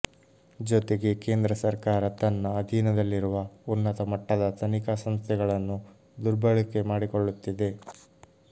ಜೊತೆಗೆ ಕೇಂದ್ರ ಸರ್ಕಾರ ತನ್ನ ಅಧೀನದಲ್ಲಿರುವ ಉನ್ನತ ಮಟ್ಟದ ತನಿಖಾ ಸಂಸ್ಥೆಗಳನ್ನು ದುರ್ಬಳಕೆ ಮಾಡಿಕೊಳ್ಳುತ್ತಿದೆ